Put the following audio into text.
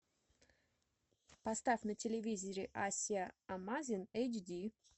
поставь на телевизоре асия амазин эйч ди